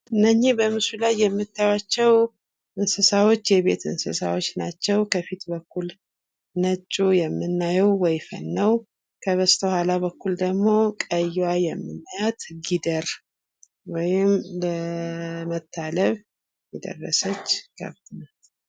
እነኝህ በምስሉ ላይ የምታዩአቸው እንስሳዎች የቤት እንስሳት ናቸው ።ከፊት በኩል ነጩ የምናየው ወይፈን ነው። ከበስተኋላ በኩል ደግሞ የምናያት ቀያ ጊደር ወይም ለመታለብ የደረሰች ከብት ናት።